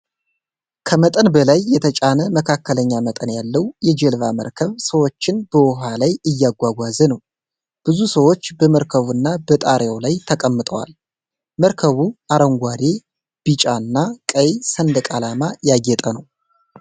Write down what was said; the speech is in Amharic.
ከመጠን በላይ የተጫነ መካከለኛ መጠን ያለው የጀልባ መርከብ ሰዎችን በውሃ ላይ እያጓጓዘ ነው። ብዙ ሰዎች በመርከቡ እና በጣሪያው ላይ ተቀምጠዋል። መርከቡ አረንጓዴ፣ ቢጫና ቀይ ሰንደቅ ዓላማ ያጌጠ ነው።